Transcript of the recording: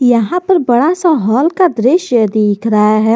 यहां पर बड़ा सा हॉल का दृश्य दिख रहा है।